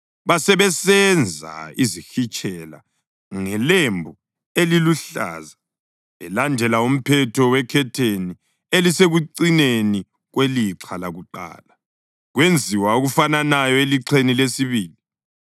Basebesenza izihitshela ngelembu eliluhlaza belandela umphetho wekhetheni elisekucineni kwelixha lakuqala, kwenziwa okufananayo elixheni lesibili.